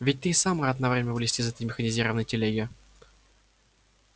ведь ты и сам рад на время вылезти из этой механизированной телеги